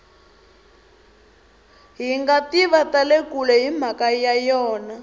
hingativa tale kule himhaka ya yona